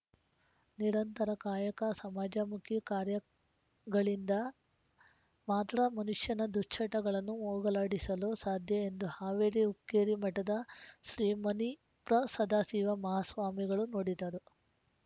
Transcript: ನಿರಂತರ ಕಾಯಕ ಸಮಾಜಮುಖಿ ಕಾರ್ಯ ಗಳಿಂದ ಮಾತ್ರ ಮನುಷ್ಯನ ದುಶ್ಚಟಗಳನ್ನು ಹೋಗಲಾಡಿಸಲು ಸಾಧ್ಯ ಎಂದು ಹಾವೇರಿ ಹುಕ್ಕೇರಿ ಮಠದ ಶ್ರೀ ಮನಿ ಪ್ರ ಸದಾಶಿವ ಮಹಾಸ್ವಾಮಿಗಳು ನುಡಿದರು